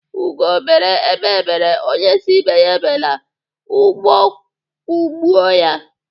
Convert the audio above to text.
Ugo bere, egbé bere, onye sii ibe ya ebela ụgbọ kugbuo ya.